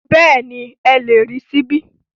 Bẹ́ẹ̀ni, ẹ lè rí ṣíbí